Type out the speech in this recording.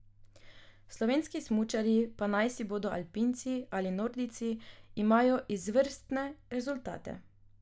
Slovenski smučarji, pa naj si bodo alpinci ali nordijci, imajo izvrstne rezultate.